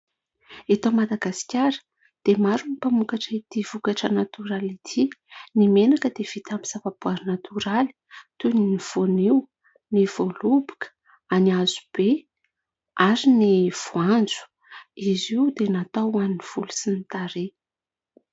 Eto Madagasikara dia maro ny mpamokatra itỳ vokatra natoraly itỳ. Ny menaka dia vita amin'ny zavaboaary natoraly toy ny voanio, ny voaloboka ary ny hazo be ary ny voanjo. Izy io dia natao ho an'ny volo sy ny tarehy.